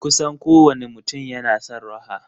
Kusan kowane mutum yana son raha.